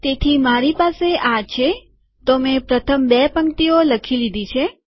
તેથી મારી પાસે આ છેતો મેં પ્રથમ બે પંક્તિઓ લખી લીધી છે